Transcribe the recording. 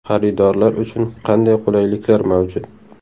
Xaridorlar uchun qanday qulayliklar mavjud?